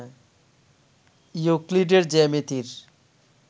ইউক্লিডের জ্যামিতির